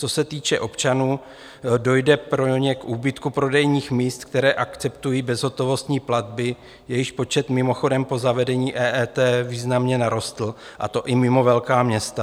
Co se týče občanů, dojde pro ně k úbytku prodejních míst, která akceptují bezhotovostní platby, jejichž počet mimochodem po zavedení EET významně narostl, a to i mimo velká města.